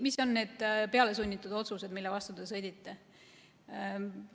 Mis on need pealesunnitud otsused, mille vastu te sõdite?